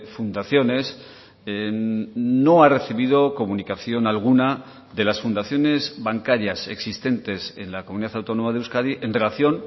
fundaciones no ha recibido comunicación alguna de las fundaciones bancarias existentes en la comunidad autónoma de euskadi en relación